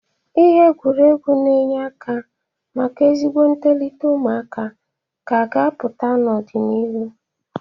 Ihe egwuregwu na-enye aka maka ezigbo ntolịta ụmụaka ka a ga-apụta n'ọ dị n'irụ.